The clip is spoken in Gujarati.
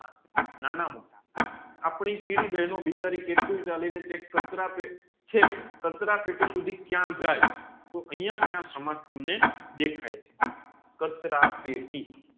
નાના મોટા આપડી કીડી બેનો બિચારી કેટલું ચાલીને એક ખાચર પેટી ચેક કચરા પેટી સુધી ક્યા જાય તોહ અહીંયા ક્યા સમાજ તમને દેખાય છે કચરા પેટી